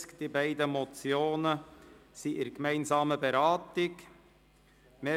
Die beiden Motionen sind in gemeinsamer Beratung vorgesehen. «